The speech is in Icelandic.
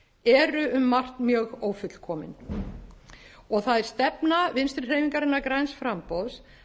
eru um margt mjög ófullkomin og það er stefna vinstri hreyfingarinnar græns framboðs